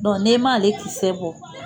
n'i m'ale kisɛ bɔ